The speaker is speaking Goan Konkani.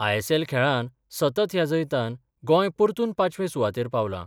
आयएसएल खेळान सतत ह्या जैतान गोंय परतून पांचवे सुवातेर पावलां.